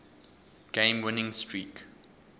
game winning streak